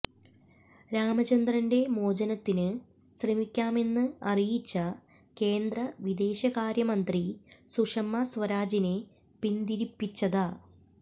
രാമചന്ദ്രന്റെ മോചനത്തിന് ശ്രമിക്കാമെന്ന് അറിയിച്ച കേന്ദ്ര വിദേശകാര്യമന്ത്രി സുഷമ സ്വരാജിനെ പിന്തിരിപ്പിച്ചത